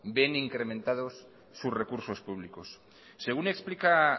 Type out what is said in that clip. ven incrementados sus recursos públicos según explica